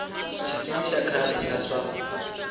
xikimi xa khale xa swa